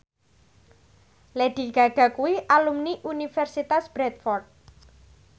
Lady Gaga kuwi alumni Universitas Bradford